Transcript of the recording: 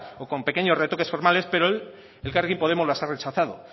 o con pequeños retoques formales pero elkarrekin podemos las ha rechazado